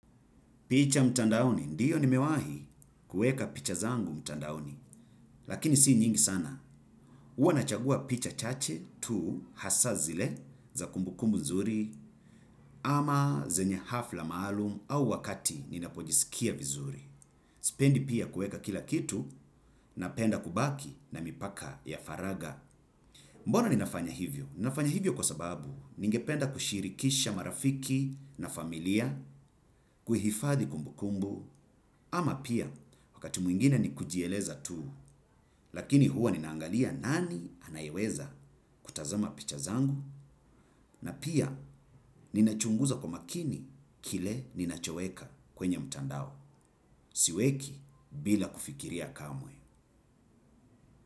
Picha mtandaoni, ndio nimewahi kuweka picha zangu mtandaoni, lakini si nyingi sana. Huwa nachagua picha chache tu hasa zile za kumbukumbu nzuri ama zenye hafla maalum au wakati ninapojisikia vizuri. Sipendi pia kuweka kila kitu napenda kubaki na mipaka ya faragha. Mbona ninafanya hivyo? Ninafanya hivyo kwa sababu ningependa kushirikisha marafiki na familia kuhifadhi kumbukumbu ama pia wakati mwingine ni kujieleza tu lakini huwa ninaangalia nani anayeweza kutazama picha zangu na pia ninachunguza kwa makini kile ninachoweka kwenye mtandao. Siweki bila kufikiria kamwe.